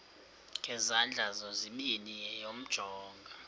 ngezandla zozibini yamjonga